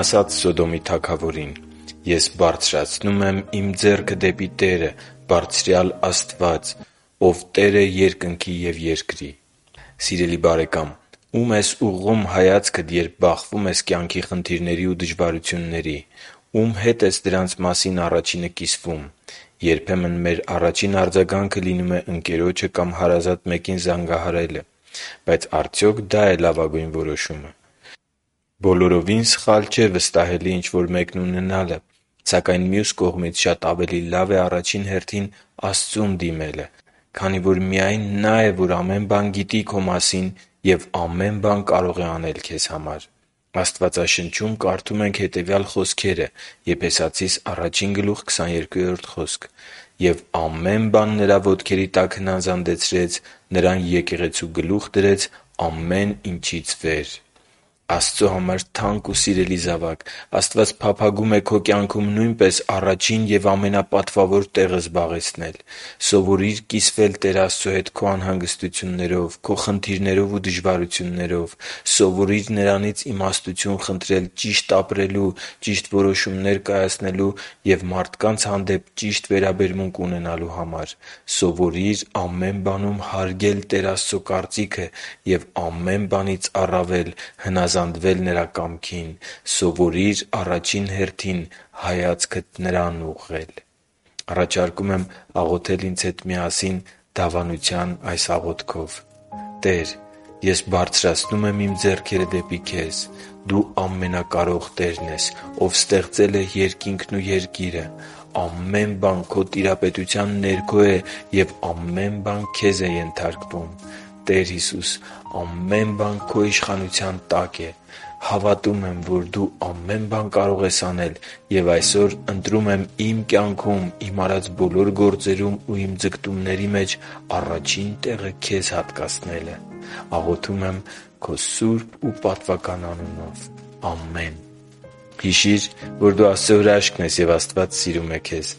ասաց Սոդոմի թագավորին. «Ես բարձրացնում եմ իմ ձեռքը դեպի Տերը՝ Բարձրյալ Աստված, որ Տեր է երկնքի և երկրի.» (Ծննդոց 14.22)։ Սիրելի՛ բարեկամ, ո՞ւմ ես ուղղում հայացքդ, երբ բախվում ես կյանքի խնդիրների ու դժվարությունների։ Ո՞ւմ հետ ես դրանց մասին առաջինը կիսվում։ Երբեմն մեր առաջին արձագանքը լինում է ընկերոջը կամ հարազատ մեկին զանգահարել։ Բայց արդյոք դա՞ է լավագույն որոշումը։ Բոլորովին սխալ չէ վստահելի ինչ-որ մեկն ունենալը։ Սակայն մյուս կողմից շատ ավելի լավ է առաջին հերթին Աստծուն դիմելը, քանի որ միայն Նա է, որ ամեն բան գիտի քո մասին ու ամեն բան կարող է անել քեզ համար։ Աստվածաշնչում կարդում ենք հետևյալ խոսքերը. «Եվ ամեն բան Նրա ոտքերի տակ հնազանդեցրեց, Նրան եկեղեցու գլուխ դրեց՝ ամեն ինչից վեր,…» (Եփեսացիս 1.22): Աստծո համար թանկ ու սիրելի՛ զավակ, Աստված փափագում է քո կյանքում նույնպես առաջին և ամենապատվավոր տեղը զբաղեցնել: Սովորի՛ր կիսվել Տեր Աստծո հետ քո անհանգստութուններով, քո խնդիրներով և դժվարություններով։ Սովորի՛ր Նրանից իմաստություն խնդրել ճիշտ ապրելու, ճիշտ որոշումներ կայացնելու և մարդկանց հանդեպ ճիշտ վերաբերմունք ունենալու համար։ Սովորի՛ր ամեն բանում հարգել Տեր Աստծո կարծիքը և ամեն բանից առավել հնազանդվել Նրա կամքին։ Սովորի՛ր առաջին հերթին հայացքդ Նրան ուղղել․․․ Աղոթի՛ր ինձ հետ միասին դավանության այս աղոթքով. «Տե՛ր, ես բարձրացնում եմ իմ ձեռքերը դեպի Քեզ։ Դու Ամենակարող Տերն ես, Ով ստեղծել է Երկինքն ու երկիրը։ Ամե՛ն բան Քո տիրապետության ներքո է և ամեն բան Քեզ է ենթարկվում։ Տե՛ր Հիսուս, ամեն բան Քո իշխանության տակ է։ Հավատում եմ, որ Դու ամե՛ն բան կարող ես անել, և այսօր ընտրում եմ իմ կյանքում, իմ արած բոլոր գործերում և իմ ձգտումների մեջ առաջին տեղը Քեզ հատկացնելը։ Աղոթում եմ Քո սուրբ ու պատվական անունով։ Ամե՛ն»։ Հիշի՛ր, որ դու Աստծո հրաշքն ես, և Աստված սիրում է քեզ։